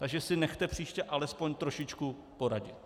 Takže si nechte příště alespoň trošičku poradit.